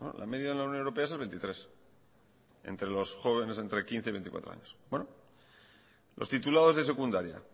la media en la unión europea es el veintitrés por ciento entre los jóvenes entre quince y veinticuatro años los titulados de secundaria